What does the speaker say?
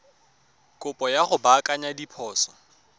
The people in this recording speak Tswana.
kopo ya go baakanya diphoso